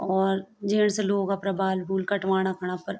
और जेंट्स लोग अपरा बाल बूल कटवाणा खण अपर --